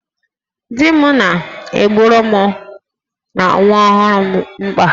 Di m na-egboro mụ na nwa ọhụrụ a mkpa